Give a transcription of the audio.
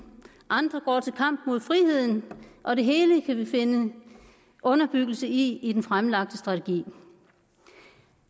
andre går til kamp mod friheden og det hele kan vi finde underbyggelse i i den fremlagte strategi